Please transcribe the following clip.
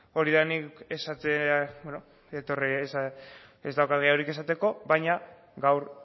ez daukak gehiagorik esateko baina gaur